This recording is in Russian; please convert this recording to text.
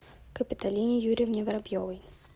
капиталине юрьевне воробьевой